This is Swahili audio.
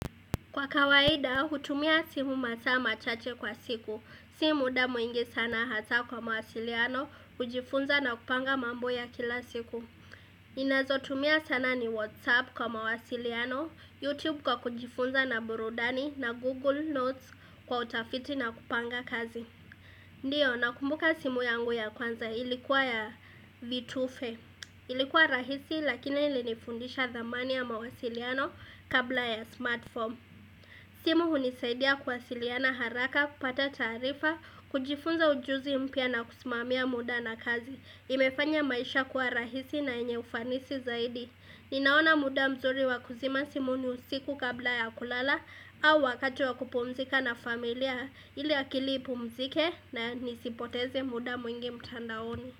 Kwa kawaida, hutumia simu masaa machache kwa siku. Si muda mwingi sana hasa kwa mawasiliano, hujifunza na kupanga mambo ya kila siku. Inazotumia sana ni WhatsApp kwa mawasiliano, YouTube kwa kujifunza na burudani na Google Notes kwa utafiti na kupanga kazi. Ndiyo, nakumbuka simu yangu ya kwanza ilikuwa ya vitufe. Ilikuwa rahisi lakini ilinifundisha thamani ya mawasiliano kabla ya smartphone. Simu hunisaidia kuwa siliana haraka, kupata taarifa, kujifunza ujuzi mpya na kusimamia muda na kazi. Imefanya maisha kuwa rahisi na yenye ufanisi zaidi. Ninaona muda mzuri wakuzima simu ni usiku kabla ya kulala au wakat wakupumzika na familia ili akili ipumzike na nisipoteze muda mwingi mtandaoni.